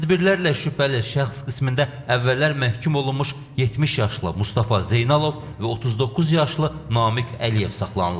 Tədbirlərlə şübhəli şəxs qismində əvvəllər məhkum olunmuş 70 yaşlı Mustafa Zeynalov və 39 yaşlı Namiq Əliyev saxlanılıb.